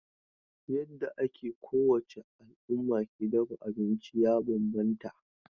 Yadda ake kowace al'umma ke dafa abinci ya bambanta.